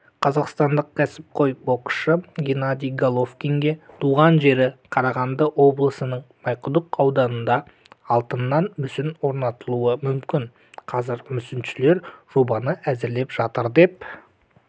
қазақстандық кәсіпқой боксшы геннадий головкинге туған жері қарағанды облысының майқұдық ауданында алтыннан мүсін орнатылуы мүмкін қазір мүсіншілер жобаны әзірлеп жатыр деп